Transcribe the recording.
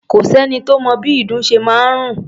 Kò sẹ́ni tó mọ bí ìdun ṣe máa ń rùn.